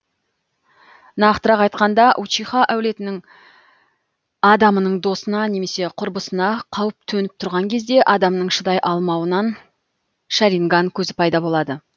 нақтырақ айтқанда учиха әулетінің адамының досына немесе құрбысына қауіп төніп тұрған кезде адамның шыдай алмауынан шаринган көзі пайда болады